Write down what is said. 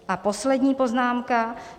A poslední poznámka.